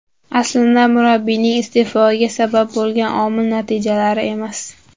Aslida murabbiyning iste’fosiga sabab bo‘lgan omil natijalar emas.